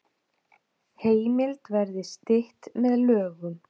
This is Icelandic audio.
Heimild verði stytt með lögum